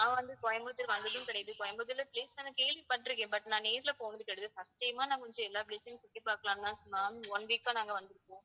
நான் வந்து கோயம்புத்தூர் வந்ததும் கிடையாது. கோயம்புத்தூர்ல place நான் கேள்விப்பட்டிருக்கேன் but நான் நேர்ல போனது கிடையாது first time ஆ நான் கொஞ்சம் எல்லா place அயும் சுற்றி பார்க்கலாம்னு தான் ma'am one week ஆ நாங்க வந்திருக்கோம்.